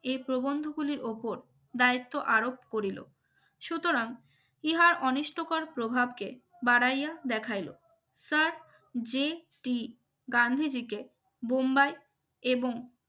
এই প্রবন্ধ গুলির উপর দায়িত্ব আরোপ করিল সুতরাং ইহার অনিষ্ঠকর প্রভাবকে বাড়াইয়া দেখাইলো sir জি টি গান্ধীজিকে বোম্বাই এবং